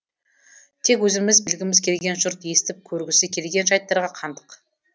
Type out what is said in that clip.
тек өзіміз білгіміз келген жұрт естіп көргісі келген жайттарға қандық